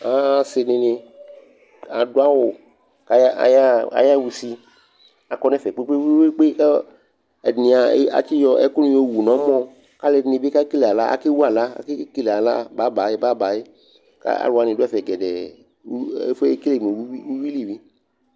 Asɩ dɩnɩ adʋ awʋ kʋ ayaɣa ayaɣa usi Akɔ nʋ ɛfɛ kpe-kpe-kpe kʋ ɛdɩnɩ a atsɩyɔ ɛkʋnɩ yɔwu nʋ ɔmɔ kʋ alʋɛdɩnɩ bɩ a kekele aɣla akewu aɣla akekele aɣla babayɩ babayɩ kʋ alʋ wanɩ dʋ ɛfɛ gɛdɛɛ uyui ɛfʋ yɛ ekele mʋ uyui li